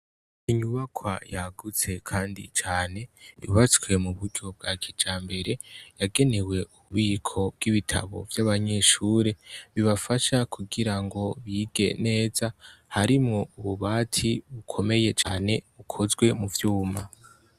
Inyubaka yagutse, kandi cane yubatswe mu buryo bwa kija mbere yagenewe ububiko bw'ibitabo vy'abanyishure bibafasha kugira ngo bige neza harimwo ububati ukomeye cane ukozwe mu vyuma.